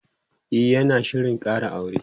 e yana Shirin Kara aure